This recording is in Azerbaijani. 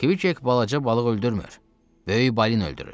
Kviq balaca balığı öldürmür, böyük balin öldürür.